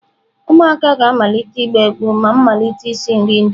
Ụmụaka ga-amalite ịgba egwu ma m malite isi nri Indomie.